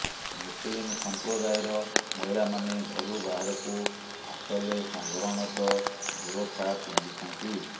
ମୁସଲିମ ସମ୍ପ୍ରଦାୟର ମହିଳାମାନେ ଘରୁ ବାହାରକୁ ଆସଲେ ସାଧାରଣତଃ ବୁରଖା ପିନ୍ଧିଥାନ୍ତି